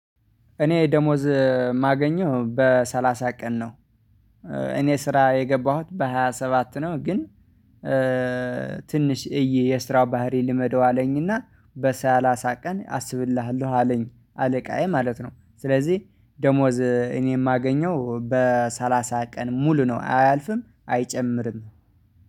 እኔ ደሞዝ የማገኘው በሰላሳ ቀን ነው። እኔ ስራ የገባሁት በሃያ ስባት ነው። ግን ትንሽ እይ የስራ ባህሪ ልመደው አለኝና በሳላሳ ቀን አስብልሃለሁ አለኝ አለቃዬ ማለት ነው። ስለዚህ ደሞዝ እኔ የማገኘው በሰላሳ ቀን ሙሉ ነው አያልፍም አይጨምርም።